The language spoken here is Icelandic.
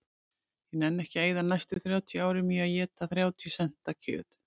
Ég nenni ekki að eyða næstu þrjátíu árum í að éta þrjátíu senta kjöt